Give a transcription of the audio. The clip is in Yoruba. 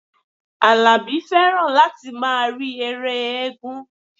Àlàbí fẹ́ràn láti máa rí ère éégún